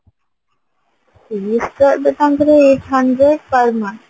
fess ତ ତାଙ୍କର ଏବେ eight hundred per month